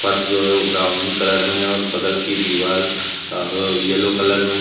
फर्श जो है वो ब्राउन कलर में है और बगल की दीवार अह येलो कलर में है।